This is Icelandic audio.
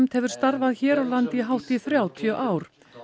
hefur starfað hér á landi í hátt í þrjátíu ár